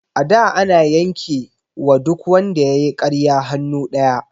A da ana yanke wa duk wanda yayi ƙarya hannu ɗaya